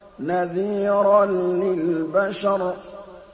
نَذِيرًا لِّلْبَشَرِ